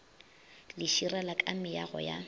le širela ka meago ya